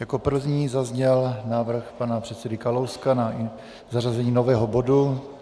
Jako první zazněl návrh pana předsedy Kalouska na zařazení nového bodu.